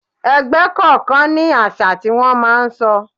Ẹgbẹ́ kọ̀ọ̀kan ní àṣà tí wón máa ń sọ.